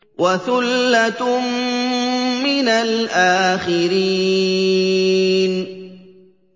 وَثُلَّةٌ مِّنَ الْآخِرِينَ